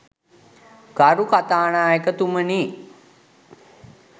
ගරු කථානායකතුමනි.